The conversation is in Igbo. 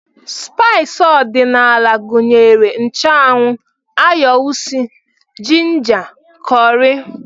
Spaịs ọdịnala gụnyere nchụanwụ, ayo usi, jinja, kọrị